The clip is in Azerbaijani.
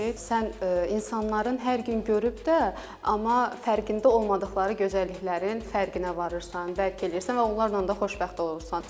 Sən insanların hər gün görüb də, amma fərqində olmadıqları gözəlliklərin fərqinə varırsan, bəlkələyirsən və onlarla da xoşbəxt olursan.